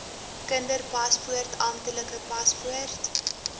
kinderpaspoort amptelike paspoort